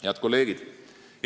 Head kolleegid!